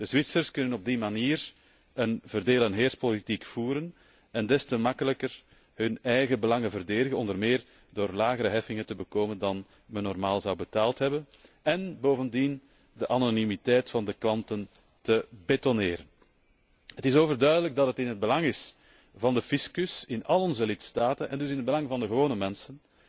De Zwitsers kunnen op die manier een verdeel en heerspolitiek voeren en des te makkelijker hun eigen belangen verdedigen, onder meer door lagere heffingen te bedingen dan die welke men normaal betaald zou hebben, en bovendien de anonimiteit van de klanten te betonneren. Het is overduidelijk in het belang van de fiscus in al onze lidstaten, en dus in het belang van de gewone mensen,